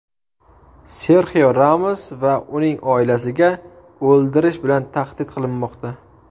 Serxio Ramos va uning oilasiga o‘ldirish bilan tahdid qilinmoqda.